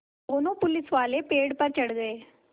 दोनों पुलिसवाले पेड़ पर चढ़ गए